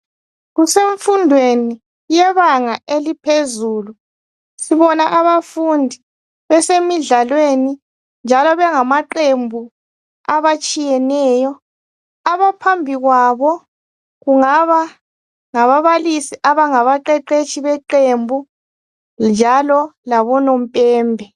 Kusemfundweni yebanga eliphezulu. Sibona abafundi besemidlalweni, njalo bangamaqembu abatshiyeneyo. Abaphambi kwabo kungaba ngababalisi abangabaqeqetshi beqembu, njalo labonompembe.